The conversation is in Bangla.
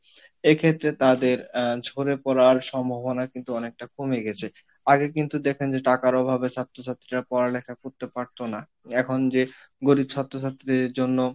এ ক্ষেত্রে তাদের আহ ঝরে পরার সম্ভবনা কিন্তু অনেকটা কমে গেছে আগে কিন্তু দেখেন যে টাকার অভাবে ছাত্র ছাত্রীরা পড়ালেখা করতে পারতো না এখন যে গরিব ছাত্র ছাত্রীর জন্য